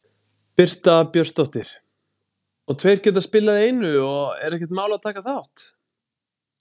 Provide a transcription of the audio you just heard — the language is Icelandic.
Birta Björnsdóttir: Og tveir geta spilað í einu og er ekkert mál að taka þátt?